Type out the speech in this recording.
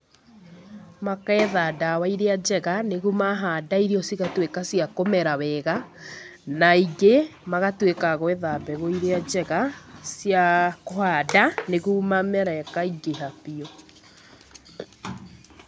Makeetha ndawa iria njega, nĩgu mahanda irio cigatuĩka cia kũmera wega, na aingĩ mahatuĩka a gwetha mbegu iria njega cia kũhanda, niguo mamera ĩkaingĩha biu.